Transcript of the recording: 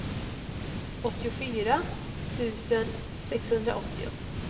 åttiofyra tusen sexhundraåttio